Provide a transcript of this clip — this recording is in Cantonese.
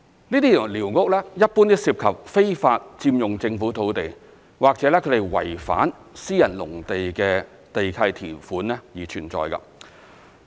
這些寮屋一般都涉及非法佔用政府土地或違反私人農地的地契條款而存在。